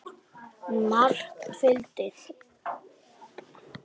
Margt fylgdi.